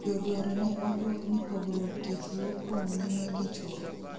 joduaro ne obuok ni pogruok tich wuok koum mine gi chuo